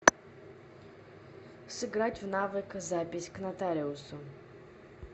сыграть в навык запись к нотариусу